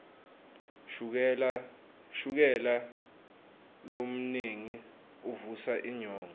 shukela lomnengi uvusa inyongo